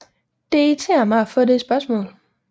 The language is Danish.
Det irriterer mig at få det spørgsmål